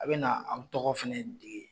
A bɛ na an tɔgɔ fana di